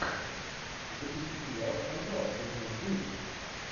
запусти сериал скандал сезон девять